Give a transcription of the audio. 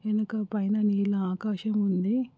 వెనుక పైన నీల ఆకాశం ఉంది.